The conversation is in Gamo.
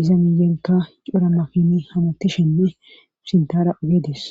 iza miyenka coramafin hamatishenne sintara ageedis